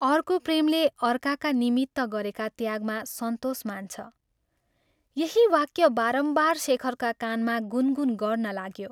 " अर्को प्रेमले अर्काका निमित्त गरेका त्यागमा सन्तोष मान्छ, " यही वाक्य बारम्बार शेखरका कानमा गुन गुन गर्न लाग्यो।